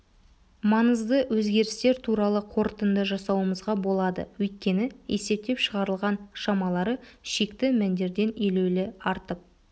маңызды өзгерістер туралы қорытынды жасауымызға болады өйткені есептеп шығарылған шамалары шекті мәндерден елеулі артып